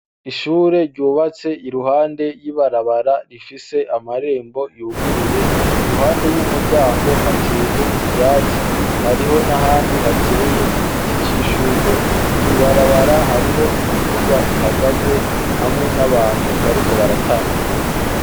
Ishure ryubatse iruhande y'ibarabara, rifise amarembo yuguruye. Iruhande y'umuryango, hateye ivyatsi, hariho n'ahandi hateye igiti c'ishurwe. Kw'ibarabara, hariho imiduga ihagaze, hamwe n'abantu bariko baratambuka.